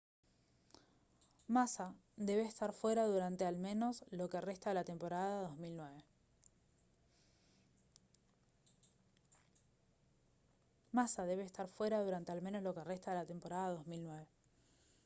massa debe estar fuera durante al menos lo que resta de la temporada 2009